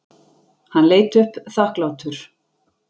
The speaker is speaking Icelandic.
Hann leit upp þakklátur.